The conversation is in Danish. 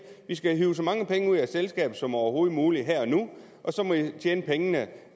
vi skal have hevet så mange penge ud af selskabet som overhovedet muligt her og nu og så må de tjene pengene